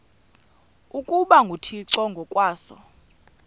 ukuba nguthixo ngokwaso